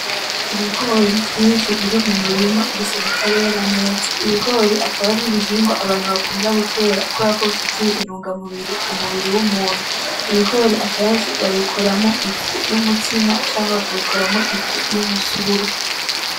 Ibigori vyinshi biri mu murima gusa bitarera neza. Ibigori akaba aribihingwa abantu bakunda gutera kuberako bifitiye intunga mubiri w’umuntu. Ibigori akenshi babikoramo ifu y’umutsima canke bakabikoramo ifu y’umusururu.